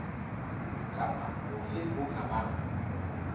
kapa hofe ho ka bang